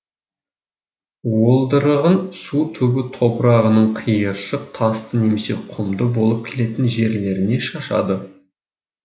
уылдырығын су түбі топырағының қиыршық тасты немесе құмды болып келетін жерлеріне шашады